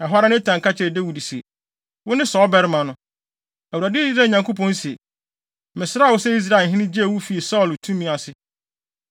Ɛhɔ ara, Natan ka kyerɛɛ Dawid se, “Wone saa ɔbarima no! Awurade, Israel Nyankopɔn, se, ‘Mesraa wo sɛ Israelhene, gyee wo fii Saulo tumi ase.